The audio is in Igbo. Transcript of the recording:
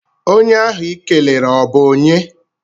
Onye ahụ I kelere ọ bụ onye?